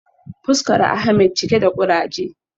Fuskar Ahmed cike da kuraje